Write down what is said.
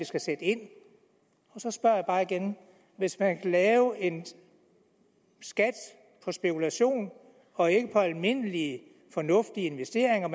skal sætte ind og så spørger jeg bare igen hvis man kan lave en skat på spekulation og ikke på almindelige fornuftige investeringer